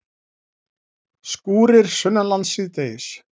Skúrir sunnanlands síðdegis